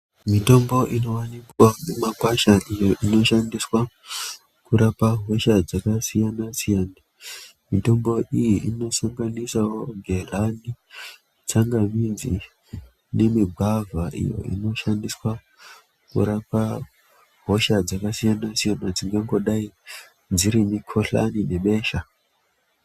Mitombo inowanikwa mumakwasha iyo inoshandiswa kurapa hosha dzakasiyana- siyana. Mitombo iyi inosanganisawo gehlani, tsangamidzi nemigwavha iyo inoshandiswa kurapa hosha dzakasiyana -siyana dzingangodai dziri mikhuhlani nebesha.